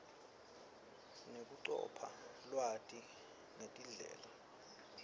nekucopha lwati ngetindlela